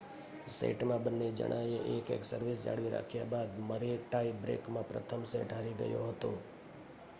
સેટમાં બંને જણાએ એક-એક સર્વિસ જાળવી રાખ્યા બાદ મરે ટાઈ બ્રેકમાં પ્રથમ સેટ હારી ગયો હતો